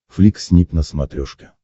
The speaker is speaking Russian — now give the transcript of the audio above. флик снип на смотрешке